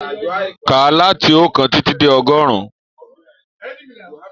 Káà láti ookan titi dé ọgọrun!